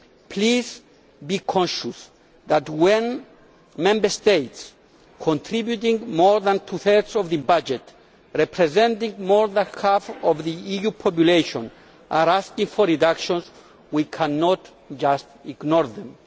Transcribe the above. Please be conscious that when Member States contributing more than two thirds of the budget and representing more than half of the EU population are asking for reductions, we cannot just ignore them.